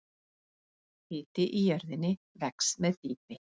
Hiti í jörðinni vex með dýpi.